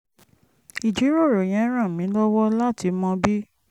ìjíròrò yẹn ràn mí lọ́wọ́ láti mọ bí